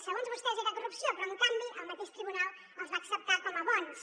segons vostès era corrupció però en canvi el mateix tribunal els va acceptar com a bons